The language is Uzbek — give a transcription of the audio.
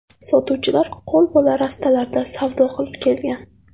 Sotuvchilar qo‘lbola rastalarda savdo qilib kelgan.